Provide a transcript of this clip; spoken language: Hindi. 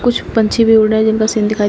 कुछ पंछी भी उड़ रहे हैं जिनका सीन दिखाई--